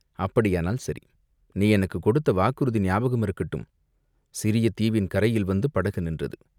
"அப்படியானால் சரி, நீ எனக்குக் கொடுத்த வாக்குறுதி ஞாபகம் இருக்கட்டும்!" சிறிய தீவின் கரையில் வந்து படகு நின்றது.